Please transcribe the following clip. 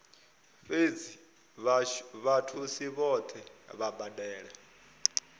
fhedzi vhathusi vhohe vha badela